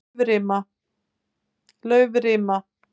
Laufrima